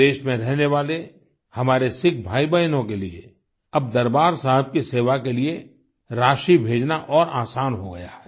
विदेश में रहने वाले हमारे सिख भाईबहनों के लिए अब दरबार साहिब की सेवा के लिए राशि भेजना और आसान हो गया है